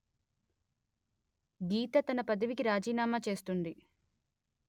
గీత తన పదవికి రాజీనామా చేస్తుంది